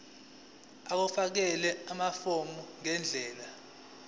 ukufakela amafomu ngendlela